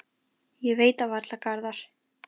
Ég veit það varla, Garðar.